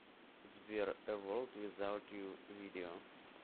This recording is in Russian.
сбер э ворлд визаут ю видео